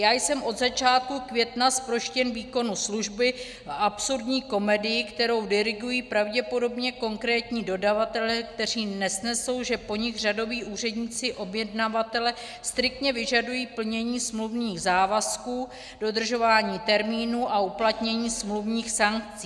Já jsem od začátku května zproštěn výkonu služby v absurdní komedii, kterou dirigují pravděpodobně konkrétní dodavatelé, kteří nesnesou, že po nich řadoví úředníci objednavatele striktně vyžadují plnění smluvních závazků, dodržování termínů a uplatnění smluvních sankcí.